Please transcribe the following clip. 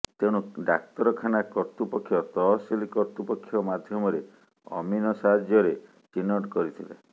ତେଣୁ ଡାକ୍ତରଖାନା କର୍ତ୍ତୃପକ୍ଷ ତହସିଲ କର୍ତ୍ତୃପକ୍ଷ ମାଧ୍ୟମରେ ଅମିନ ସାହାଯ୍ୟରେ ଚିହ୍ନଟ କରିଥିଲେ